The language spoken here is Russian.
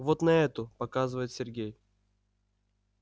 вот на эту показывает сергей